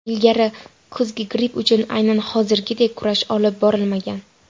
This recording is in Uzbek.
Ilgari kuzgi gripp uchun aynan hozirgidek kurash olib borilmagan.